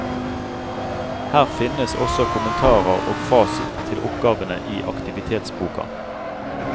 Her finnes også kommentarer og fasit til oppgavene i aktivitetsboka.